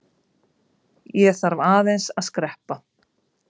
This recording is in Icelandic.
Ég þarf aðeins að skreppa.